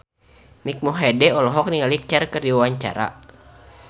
Mike Mohede olohok ningali Cher keur diwawancara